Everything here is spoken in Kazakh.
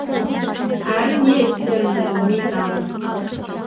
әрі не істерімді білмей далмын